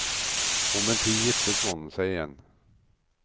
Om en tid giftet mannen seg igjen.